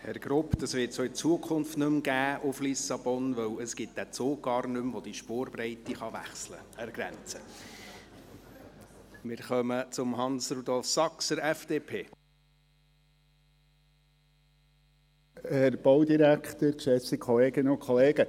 Herr Grupp, den Nachtzug nach Lissabon wird es auch in Zukunft nicht mehr geben, weil es den Zug, der die Spurbreite an der Grenze wechseln kann, nicht mehr gibt.